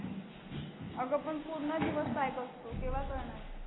अगं पण पूर्ण दिवस pack असतो केव्हा करणार?